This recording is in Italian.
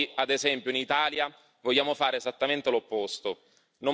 Noi, ad esempio in Italia, vogliamo fare esattamente l'opposto.